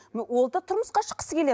ол да тұрмысқа шыққысы келеді